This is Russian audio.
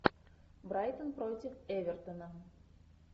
брайтон против эвертона